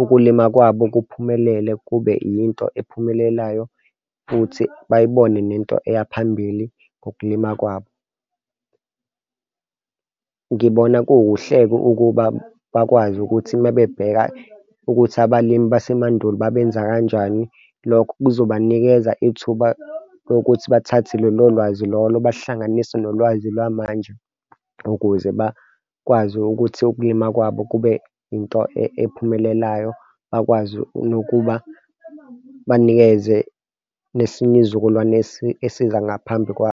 ukulima kwabo kuphumelele, kube yinto ephumelelayo futhi bayibone nento eyaphambili ngokulima kwabo. Ngibona kukuhle-ke ukuba bakwazi ukuthi uma bebheka ukuthi abalimi basemandulo babenza kanjani. Lokho kuzobanikeza ithuba lokuthi bathathe lolo lwazi lolo bahlunganise nolwazi lwamanje ukuze bakwazi ukuthi ukulima kwabo kube into ephumelelayo akwazi nokuba banikeze nesinye izizukulwane esiza ngaphambi kwabo.